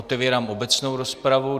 Otevírám obecnou rozpravu.